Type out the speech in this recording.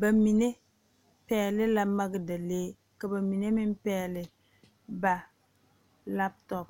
ba mine pɛgele la magedalee ka ba mine meŋ pɛgele ba laptop